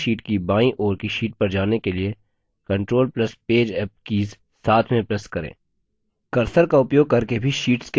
सक्रिय sheet की बाईं ओर की sheet पर जाने के लिए control plus page up keys साथ में press करें